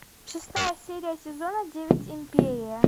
шестая серия сезона девять империя